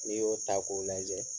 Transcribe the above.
N'i y'o ta k'o lajɛ.